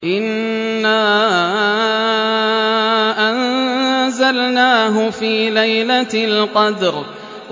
إِنَّا أَنزَلْنَاهُ فِي لَيْلَةِ الْقَدْرِ